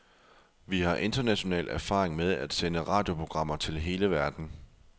Vi har international erfaring med at sende radioprogrammer til hele verden.